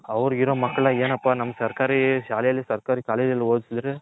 ಅವರಿಗೋ ಇರ ಮಕ್ಕಳ್ನ ಏನಪ್ಪಾನಮ್ಮ ಸರ್ಕಾರೀ ಶಾಲೆಯಲ್ಲಿ ಸರ್ಕಾರೀ College ಅಲ್ಲಿ ಓದ್ಸುದ್ರೆ